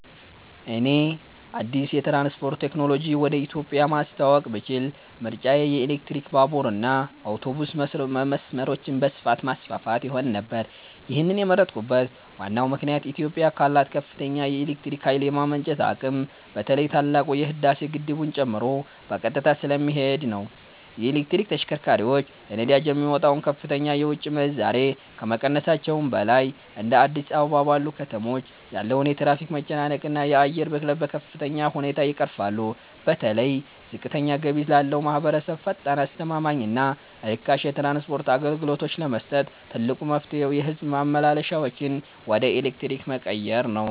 እኔ አዲስ የትራንስፖርት ቴክኖሎጂ ወደ ኢትዮጵያ ማስተዋወቅ ብችል ምርጫዬ የኤሌክትሪክ ባቡርና አውቶቡስ መስመሮችን በስፋት ማስፋፋት ይሆን ነበር። ይህንን የመረጥኩበት ዋናው ምክንያት ኢትዮጵያ ካላት ከፍተኛ የኤሌክትሪክ ኃይል የማመንጨት አቅም በተለይ ታላቁ የህዳሴ ግድብን ጨምሮ በቀጥታ ስለሚሄድ ነው። የኤሌክትሪክ ተሽከርካሪዎች ለነዳጅ የሚወጣውን ከፍተኛ የውጭ ምንዛሬ ከመቀነሳቸውም በላይ፤ እንደ አዲስ አበባ ባሉ ከተሞች ያለውን የትራፊክ መጨናነቅና የአየር ብክለት በከፍተኛ ሁኔታ ይቀርፋሉ። በተለይ ዝቅተኛ ገቢ ላለው ማኅበረሰብ ፈጣን፣ አስተማማኝና ርካሽ የትራንስፖርት አገልግሎት ለመስጠት ትልቁ መፍትሔ የሕዝብ ማመላለሻዎችን ወደ ኤሌክትሪክ መቀየር ነው።